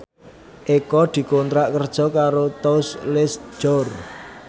Eko dikontrak kerja karo Tous Les Jour